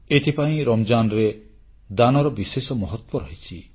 ଏଥିପାଇଁ ରମଜାନ୍ ବେଳେ ଦାନର ବିଶେଷ ମହତ୍ୱ ରହିଛି